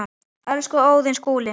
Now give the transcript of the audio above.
Elsku Óðinn Skúli.